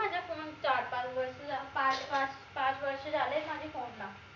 चार पाच वर्ष झाले पाच पाच पाच वर्ष झाले माझी phone ला